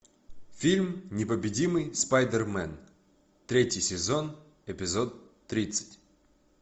фильм непобедимый спайдермен третий сезон эпизод тридцать